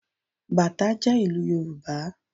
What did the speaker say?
Bàtá jẹ́ ìlù yorùbá